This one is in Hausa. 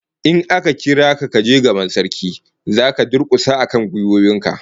In aka kira ka kaje gaban Sarki, zaka durkusa akan gwiwoyin ka